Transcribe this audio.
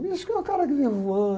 Místico é o cara que vem voando.